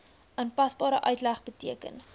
aanpasbare uitleg beteken